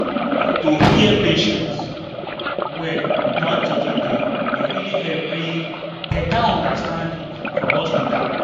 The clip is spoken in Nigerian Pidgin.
to hear patients well without judging dem dey really help bring better understanding for hospital.